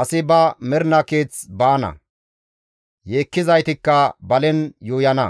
asi ba mernaa keeth baana; yeekkizaytikka balen yuuyana.